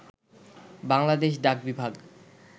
Bangladesh ডাকবিভাগ